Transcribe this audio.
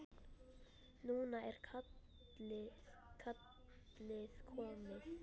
Núna er kallið komið.